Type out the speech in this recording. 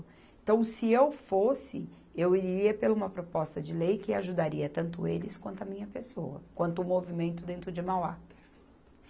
Então, se eu fosse, eu iria pelo uma proposta de lei que ajudaria tanto eles quanto a minha pessoa, quanto o movimento dentro de Mauá.